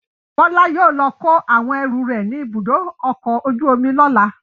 Bọ́lá yóò lọ kó àwọn ẹrù rẹ̀ ní Ibùdó-ọkọ̀ ojú-omi lọ́la.